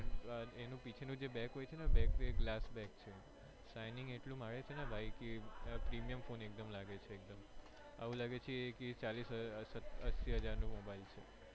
એની પીછે નું જે back હોય છે ને એ back છે Shining એટલું મારે છે ને ભાઈ કે premium એકદમ લાગે છે એકદમ એવું લાગે છે ચાલીસ એસી હાજર નો ફોન છે.